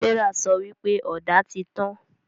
Serah sọ wípé Ọ̀dà tí tàn